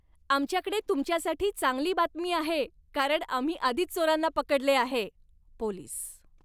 आमच्याकडे तुमच्यासाठी चांगली बातमी आहे, कारण आम्ही आधीच चोरांना पकडले आहे. पोलीस